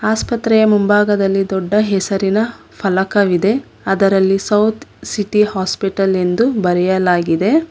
ಆಸ್ಪತ್ರೆಯ ಮುಂಭಾಗದಲ್ಲಿ ದೊಡ್ಡ ಹೆಸರಿನ ಫಲಕವಿದೆ ಅದರಲ್ಲಿ ಸೌತ್ ಸಿಟಿ ಹಾಸ್ಪಿಟಲ್ ಎಂದು ಬರೆಯಲಾಗಿದೆ.